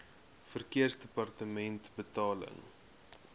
verkeersdepartementebetaling